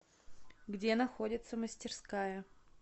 где находится мастерская